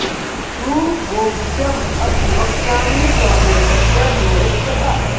सुगोप्यम् अपि वक्ष्यामि त्वं मे भृत्यः सुहृत् सखा